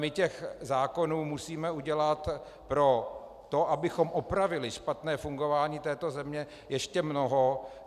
My těch zákonů musíme udělat pro to, abychom opravili špatné fungování této země, ještě mnoho.